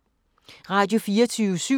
Radio24syv